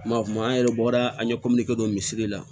Ma kuma an yɛrɛ bɔra an ye don misiri la